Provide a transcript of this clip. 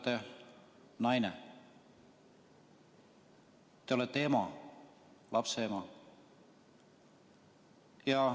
Te olete naine, te olete ema, lapse ema.